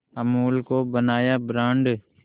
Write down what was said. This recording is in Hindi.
अमूल को बनाया ब्रांड